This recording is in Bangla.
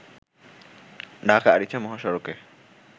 ঢাকা-আরিচা মহাসড়কে